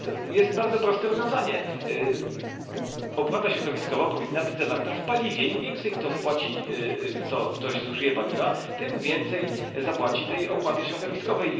Jest bardzo proste rozwiązanie opłata środowiskowa powinna być zawarta w paliwie im więcej ktoś zużyje paliwa, tym więcej zapłaci tej opłaty środowiskowej.